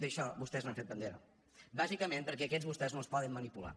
d’això vostès n’han fet bandera bàsicament perquè aquests vostès no els poden manipular